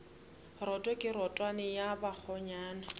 roto ke rotwane ya bakgonyana